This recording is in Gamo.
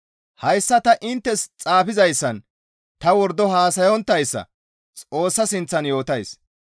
Hayssa ta inttes xaafizayssan ta wordo haasayonttayssa Xoossa sinththan yootays.